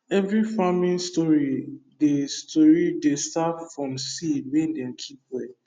every farming story dey story dey start from seed wey dem keep well